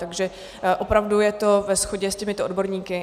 Takže opravdu je to ve shodě s těmito odborníky.